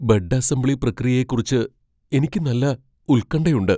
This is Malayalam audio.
ബെഡ് അസംബ്ലി പ്രക്രിയയെക്കുറിച്ച് എനിക്ക് നല്ല ഉൽകണ്ഠയുണ്ട്.